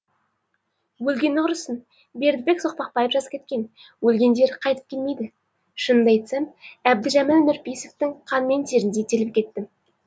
өлгені құрысын бердібек соқпақбаев жазып кеткен өлгендер қайтып келмейді шынымды айтсам әбдіжәміл нұрпейсовтің қан мен теріндей терлеп кеттім